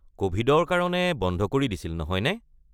ক’ভিডৰ কাৰণে বন্ধ কৰি দিছিল, নহয়নে?